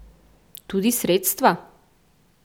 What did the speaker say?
Tudi sredstva?